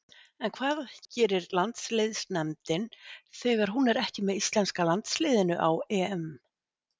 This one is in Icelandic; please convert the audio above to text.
En hvað gerir landsliðsnefndin þegar hún er ekki með íslenska landsliðinu á EM?